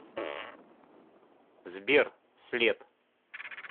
сбер след